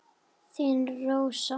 Þín Rósa.